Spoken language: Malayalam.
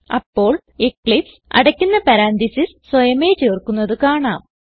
അപ്പോൾ എക്ലിപ്സ് അടയ്ക്കുന്ന പരന്തസിസ് സ്വയമേ ചേർക്കുന്നത് കാണാം